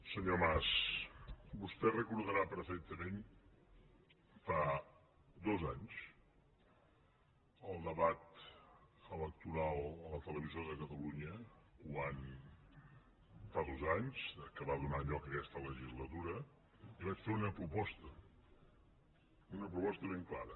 senyor mas vostè deu recordar perfectament fa dos anys el debat electoral a la televisió de catalunya quan fa dos anys que va donar lloc a aquesta legislatura li vaig fer una proposta una proposta ben clara